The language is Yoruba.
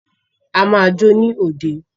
A máa jó ní òde.